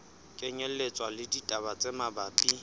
kenyelletswa le ditaba tse mabapi